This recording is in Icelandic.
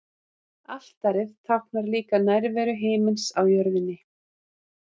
Altarið táknar líka nærveru himinsins á jörðinni.